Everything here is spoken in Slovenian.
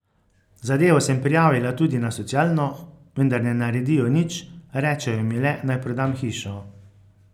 Zadevo sem prijavila tudi na socialno, vendar ne naredijo nič, rečejo mi le, naj prodam hišo.